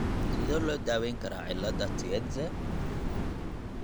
Sidee loo daweyn karaa cillada Tietze ?